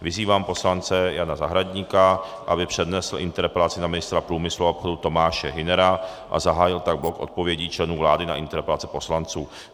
Vyzývám poslance Jana Zahradníka, aby přednesl interpelaci na ministra průmyslu a obchodu Tomáše Hünera a zahájil tak blok odpovědí členů vlády na interpelace poslanců.